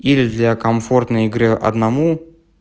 или для комфортной игры одному